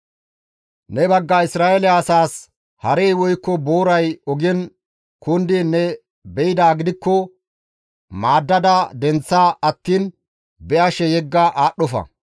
Ne bagga Isra7eele asaas harey woykko booray ogen kundiin ne be7idaa gidikko maaddada denththa attiin be7ashe yegga aadhdhofa.